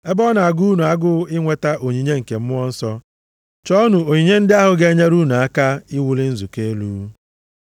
Ebe ọ na-agụ unu agụụ inweta onyinye nke Mmụọ Nsọ, chọọnụ onyinye ndị ahụ ga-enyere unu aka iwuli nzukọ elu.